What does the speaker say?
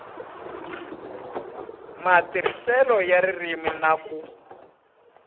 matirhiselo ya ririmi na ku